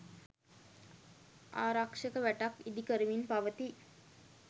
ආරක්ෂක වැටක් ඉදි කරමින් පවති